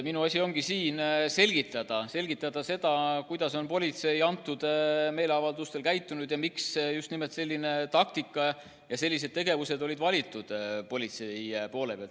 Minu asi on siin selgitada, kuidas on politsei nendel meeleavaldustel käitunud ja miks just nimelt selline taktika ja sellised tegevused olid politseil valitud.